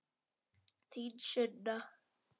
Þín Sunna.